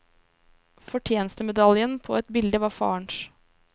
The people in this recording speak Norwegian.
Fortjenestemedaljen på et bilde var farens.